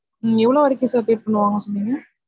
நீங்க எவ்வளவு வரைக்கும் sir pay பண்ணுவாங்க சொன்னிங்க